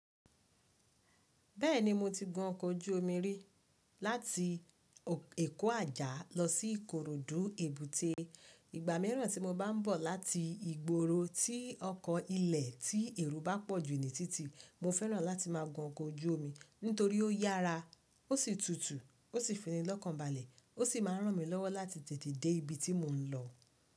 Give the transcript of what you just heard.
Bẹ́ẹ̀ni mo ti gun ọkọ̀ ojú omi rí láti Èkó Àjà lọ sí Ìkòròdú Èbúté. Ìgbà mìíràn tí mo bá ń bọ̀ láti ìgboro tí ọkọ̀ ilẹ̀ tí èrò bá pọ̀ jù ní títì, mo fẹ́ràn láti máa gun ọkọ̀ ojú omi nítorí ó yára, ó sì tutù, ó sì finilọ́kànbalẹ̀, ó sì máa rán mi lọ́wọ́ láti tètè dé ibi tí mò ń lọ.